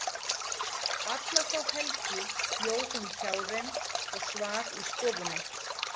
Alla þá helgi bjó hún hjá þeim og svaf í stofunni.